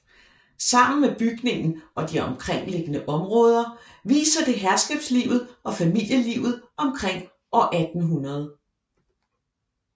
Sammen med bygningen og de omkringliggende områder viser det herskabslivet og familielivet omkring år 1800